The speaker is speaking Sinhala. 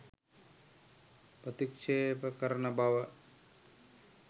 ප්‍රතික්ෂේප කරන බව